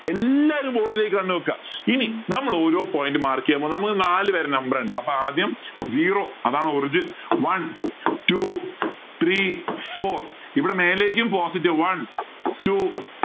എല്ലാരും കണ്ണ് വയ്ക്കുക ഇനി നമ്മൾ ഓരോ point mark ചെയ്യാം നമുക്ക് നാല് പേരെ number ഉണ്ട് ആദ്യം zero അതാണ് origin one two three four ഇവിടെ മേലേക്കും positive one two